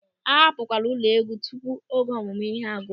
A hapụkwala ụlọ égwú tupu oge ọmụmụ ihe a gwụ.